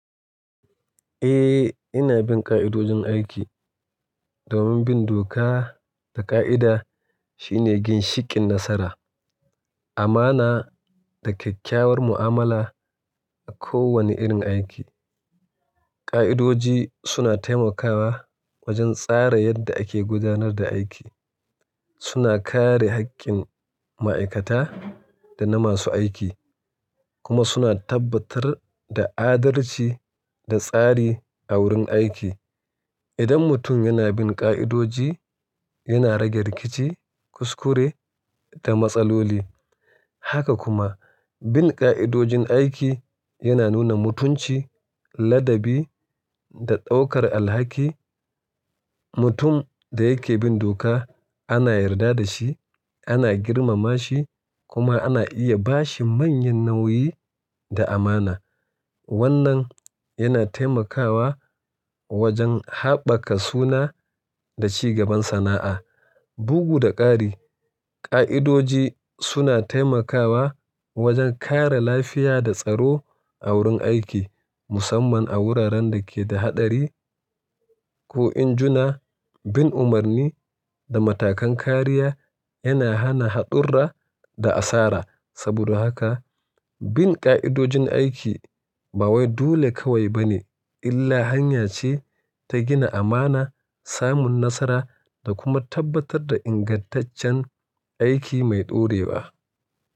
Eh, ina bin ƙa'idodin aiki domin bin doka da ƙa'ida shine gin shikin nasara, amana da kyakkyawar mu'amala a kowane irin aiki. Ƙa'idoji suna taimakawa wajen tsara yadda ake gudanar da aiki, suna kare haƙƙin ma'aikata da na masu aiki, kuma suna tabbatar da adalci da tsari a wurin aiki. Idan mutum yana bin ƙa'idoji, yana rage rikici, kuskure da matsaloli. Haka kuma, bin ƙa'idodin aiki yana nuna mutunci, ladabi da ɗaukar alhaki. Mutum da yake bin doka ana yarda da shi, ana girmama shi kuma ana iya ba shi manyan nauyi da amana. Wannan yana taimakawa wajen haɓaka suna da ci gaban sana'a. Bugu da ƙari, ƙa'idoji suna taimakawa wajen kare lafiya da tsaro a wurin aiki, musamman a wuraren da ke da haɗari. Ko in juna, bin umarni da matakan kariya yana hana haɗurra da asara. Saboda haka, bin ƙa'idojin aiki ba wai dule kawai bane illa hanya ce ta gina amana, samun nasara da kuma tabbatar da ingantaccen aiki mai ɗorewa.